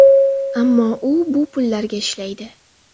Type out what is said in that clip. Ammo u bu pullarga ishlaydi.